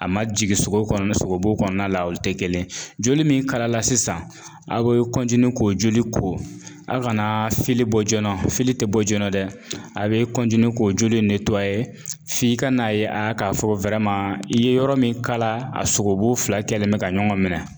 A ma jigin sogo kɔnɔ sogobu kɔnɔna la, olu tɛ kelen ye, joli min kalala sisan, aw be k'o joli ko; anw fana bɔ joona ti bɔ joona dɛ, a bɛ k'o joli in f'i ka n'a ye a k'a fɔ ko i ye yɔrɔ min kala, a sogo bu fila kɛlen mɛ ka ɲɔgɔn minɛ.